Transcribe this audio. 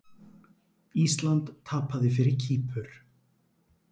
Ísland tapaði fyrir Kýpur